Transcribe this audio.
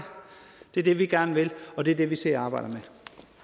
det er det vi gerne vil og det er det vi sidder og arbejder med